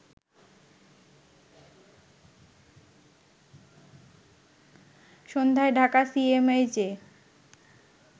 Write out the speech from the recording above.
সন্ধ্যায় ঢাকা সিএমএইচে